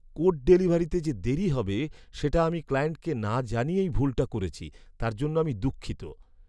Code ডেলিভারিতে যে দেরী হবে সেটা আমি ক্লায়েন্টকে না জানিয়েই ভুলটা করেছি, তার জন্য আমি দুঃখিত।